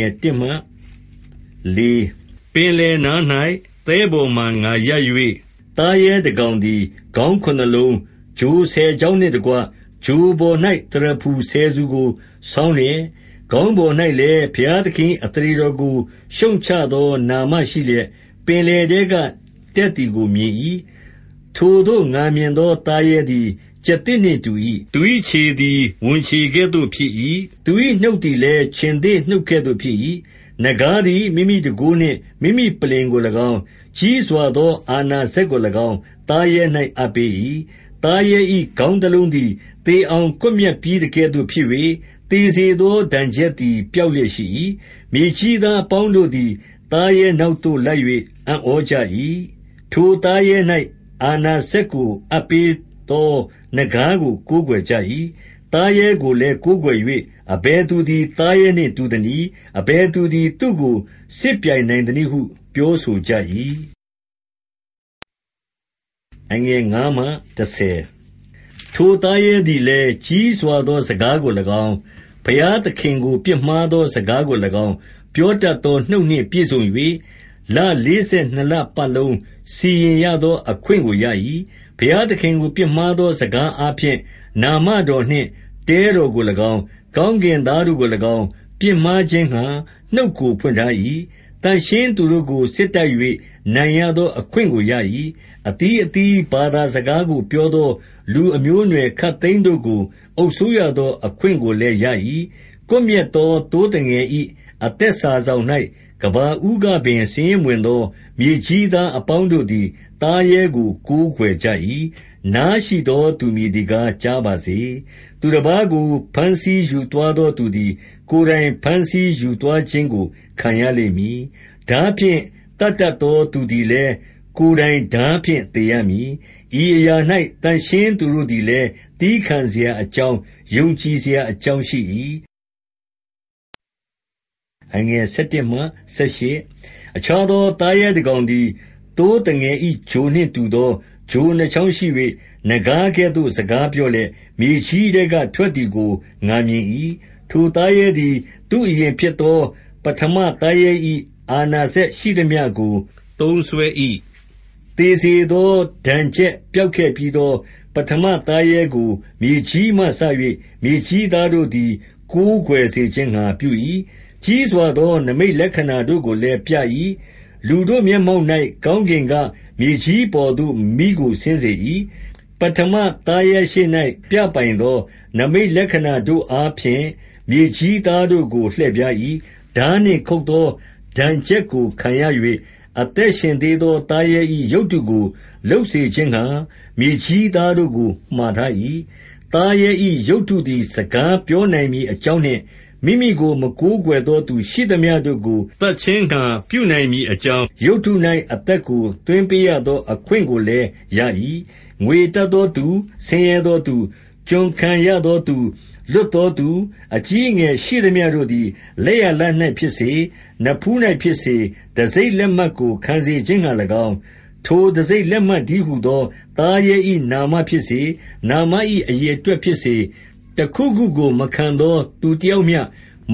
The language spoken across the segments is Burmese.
င် 1ပင်လယ်နား၌ သဲပေါ်မှာ ငါရပ်၍၊ သားရဲ တစ်ကောင်သည် ခေါင်းခုနစ်လုံး၊ ချိုဆယ်ချောင်းနှင့်တကွ ချိုပေါ်၌ သရဖူဆယ်ဆူကို ဆောင်းလျက်၊ ခေါင်းပေါ်၌လည်း ဘုရားသခင်၏ အသရေတော်ကို ရှုတ်ချသော နာမရှိလျက်၊ ပင်လယ်ထဲကတက်သည်ကို မြင်၏။-ဒံ၊ ၇:၃။ ဗျာ၊ ၁၇:၃၊ ၇-၁၂။ 2ထိုသို့ ငါမြင်သောသားရဲသည် ကျားသစ်နှင့် တူ၏။ သူ၏ခြေသည် ဝံခြေကဲ့သို့ဖြစ်၏။ သူ၏နှုတ်သည်လည်း ခြင်္သေ့နှုတ်ကဲ့သို့ဖြစ်၏။ နဂါးသည် မိမိတန်ခိုးနှင့် မိမိပလ္လင်ကိုလည်းကောင်း၊ ကြီးစွာသော အာဏာစက်ကိုလည်းကောင်း သားရဲ၌ အပ်ပေး၏။-ဒံ၊ ၇:၄-၆။ 3သားရဲ၏ ခေါင်းတစ်လုံးသည် သေအောင် ကွပ်မျက်ပြီးသကဲ့သို့ ဖြစ်၍၊ သေစေသောဒဏ်ချက်သည် ပျောက်လျက်ရှိ၏။ မြေကြီးသားအပေါင်းတို့သည် သားရဲနောက်သို့ လိုက်၍ အံ့ဩကြ၏။- 4ထိုသားရဲ၌ အာဏာစက်ကို အပ်ပေးသော နဂါးကို ကိုးကွယ်ကြ၏။ သားရဲကိုလည်း ကိုးကွယ်၍၊ အဘယ်သူသည် သားရဲနှင့်တူသနည်း။ အဘယ်သူသည် သူ့ကိုစစ်ပြိုင်နိုင်သနည်းဟု ပြောဆိုကြ၏။- 5ထိုသားရဲသည်လည်း ကြီးစွာသော စကားကိုလည်းကောင်း၊ ဘုရားသခင်ကို ပြစ်မှားသော စကားကိုလည်းကောင်း၊ ပြောတတ်သောနှုတ်နှင့် ပြည့်စုံ၍၊ လလေးဆယ်နှစ်လပတ်လုံး စီရင်ရသောအခွင့်ကိုရ၏။-ဒံ၊ ၇:၂၅၊ ၁၁:၃၆။ 6ဘုရားသခင်ကို ပြစ်မှားသောစကားအားဖြင့် နာမတော်နှင့် တဲတော်ကိုလည်းကောင်း၊ ကောင်းကင်သားတို့ကိုလည်းကောင်း၊ ပြစ်မှားခြင်းငှာ နှုတ်ကိုဖွင့်ထား၏။- 7သန့်ရှင်းသူတို့ကို စစ်တိုက်၍ နိုင်ရသောအခွင့် ကိုရ၏။ အသီးအသီး ဘာသာစကားကို ပြောသော လူအမျိုးအနွယ်ခပ်သိမ်းတို့ကို အုပ်စိုးရသော အခွင့်ကိုလည်းရ၏။-ဒံ၊ ၇:၂၁။ 8ကွပ်မျက်သောသိုးသငယ်၏ အသက်စာစောင်၌ ကမ္ဘာဦးကပင် စာရင်းမဝင်သော မြေကြီးသား အပေါင်းတို့သည် သားရဲကို ကိုးကွယ်ကြ၏။-ဆာ၊ ၆၉:၂၈။ 9နားရှိသောသူမည်သည်ကား ကြားပါစေ။- 10သူတစ်ပါးကို ဖမ်းဆီးယူသွားသောသူသည် ကိုယ်တိုင်ဖမ်းဆီးယူသွားခြင်းကို ခံရလိမ့်မည်။ ဓားဖြင့် သတ်တတ်သော သူသည်လည်း ကိုယ်တိုင် ဓားဖြင့်သေရမည်။ ဤအရာ၌ သန့်ရှင်းသူတို့လည်း သည်းခံစရာအကြောင်း၊ ယုံကြည်စရာအကြောင်းရှိ၏။ယေ၊ ၁၅:၂၊ ၄၃:၁၁။ 11အခြားသော သားရဲတစ်ကောင်သည်၊ သိုးသငယ်၏ ချိုနှင့်တူသော ချိုနှစ်ချောင်းရှိ၍၊ နဂါးကဲ့သို့ စကားပြောလျက်၊ မြေကြီးထဲက ထွက်သည်ကို ငါမြင်၏။- 12ထိုသားရဲသည် သူ့အရင်ဖြစ်သော ပထမသားရဲ၏ အာဏာစက်ရှိသမျှကို သုံးစွဲ၏။ သေစေသော ဒဏ်ချက် ပျောက်ခဲ့ပြီးသော ပထမသားရဲကို မြေကြီးမှစ၍ မြေကြီးသားတို့သည် ကိုးကွယ်စေခြင်းငှာ ပြု၏။- 13ကြီးစွာသော နိမိတ်လက္ခဏာတို့ကိုလည်း ပြ၏။ လူတို့မျက်မှောက်၌ ကောင်းကင်က မြေကြီးအပေါ်သို့ မီးကို ဆင်းစေ၏။- 14ပထမသားရဲရှေ့၌ ပြပိုင်သော နိမိတ်လက္ခဏာတို့အားဖြင့် မြေကြီးသားတို့ကို လှည့်ဖြား၏။ ဓားနှင့် ခုတ်သောဒဏ်ချက်ကို ခံရ၍ အသက်ရှင်သေးသော သားရဲ၏ ရုပ်တုကို လုပ်စေခြင်းငှာ မြေကြီးသားတို့ကို မှာထား၏။- 15သားရဲ၏ ရုပ်တုသည် စကားပြောနိုင်မည် အကြောင်းနှင့်၊ မိမိကို မကိုးကွယ်သောသူ ရှိသမျှတို့ကို သတ်ခြင်းငှာ ပြုနိုင်မည်အကြောင်း၊ ရုပ်တု၌ အသက်ကို သွင်းပေးရသော အခွင့်ကိုလည်းရ၏။- 16ငွေရတတ်သောသူ၊ ဆင်းရဲသောသူ၊ ကျွန်ခံရသောသူ၊ လွတ်သောသူ၊ အကြီးအငယ် ရှိသမျှတို့သည် လက်ယာလက်၌ဖြစ်စေ၊ နဖူး၌ဖြစ်စေ၊ တံဆိပ်လက်မှတ်ကို ခံစေခြင်းငှာလည်းကောင်း၊- 17ထိုတံဆိပ်လက်မှတ်တည်းဟူသော သားရဲ၏ နာမဖြစ်စေ၊ နာမ၏ အရေအတွက်ဖြစ်စေ၊ တစ်ခုခုကို မခံသောသူတစ်ယောက်မျှ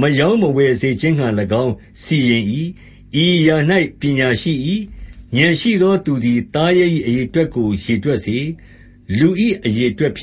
မရောင်းမဝယ်စေခြင်းငှာလည်းကောင်း စီရင်၏။- 18ဤအရာ၌ ပညာရှိ၏။ ဉာဏ်ရှိသောသူသည် သားရဲ၏အရေအတွက်ကို ရေတွက်စေ။ လူ၏ အရေအတွက်ဖြစ်